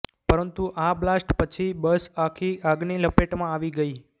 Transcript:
પરંતુ આ બ્લાસ્ટ પછી બસ આખી આગની લપેટમાં આવી ગઈ